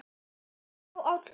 á, áll, hlust